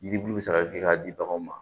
Yiribulu bɛ se ka kɛ k'a di baganw ma